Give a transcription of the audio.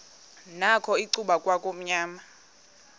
nakho icuba kwakumnyama